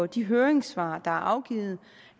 de høringssvar der er afgivet